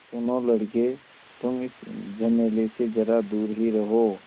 सुनो लड़के तुम इस झमेले से ज़रा दूर ही रहो